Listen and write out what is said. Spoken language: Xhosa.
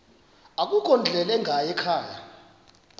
akukho ndlela ingayikhaya